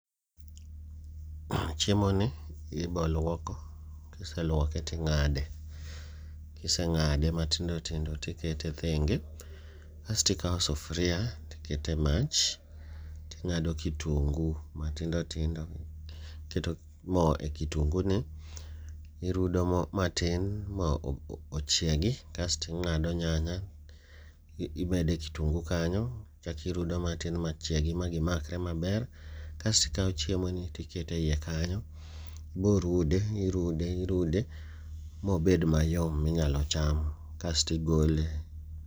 Chiemo ni iboluoko kiseluoke ting'ade, kiseng'ade matindo tindo tikete thenge. Kastikawo sufria tikete mach, ting'ado kitungu matindo tindo, iketo mo e kitungu ni. irudo mo matin ma ochiegi kasti ng'ado nyanya imede kitungu kanyo, ichakirudo matin machiegi ma gimakre maber. Kastikawo chiemo ni tikete iye kanyo, iborude irude irude mobed mayom minyalo cham kastigole.